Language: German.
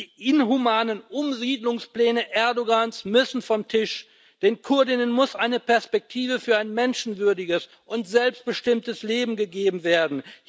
Die inhumanen Umsiedlungspläne Erdoğans müssen vom Tisch, den Kurdinnen und Kurden muss eine Perspektive für ein menschenwürdiges und selbstbestimmtes Leben gegeben werden.